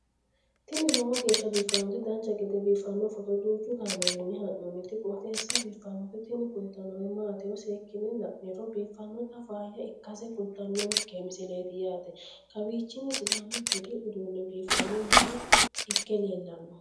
tini lowo geeshsha biiffannoti dancha gede biiffanno footo danchu kaameerinni haa'noonniti qooxeessa biiffannoti tini kultannori maatiro seekkine la'niro biiffannota faayya ikkase kultannoke misileeti yaate kaawichi sidaamu budi uduunni biifanno mine ikke leellanno